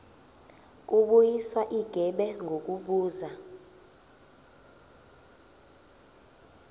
kubuyiswa igebe ngokubuza